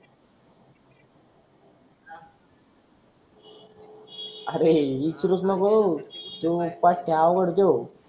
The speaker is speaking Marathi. अरे इतरुच नको हा तु नाही का पट्या आवर तु